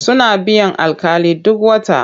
Suna biyan alƙali duk wata.